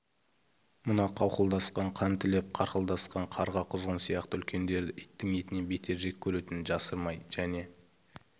мына қауқылдасқан қан тілеп қарқылдасқан қарға-құзғын сияқты үлкендерді иттің етінен бетер жек көретінін жасырмай және